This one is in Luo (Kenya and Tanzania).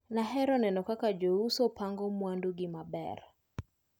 Nahero neno kaka jouso pango mwandu gi maber.